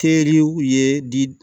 Teriw ye di